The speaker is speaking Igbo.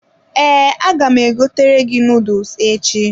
Ee, aga m egotere gị noodles echi.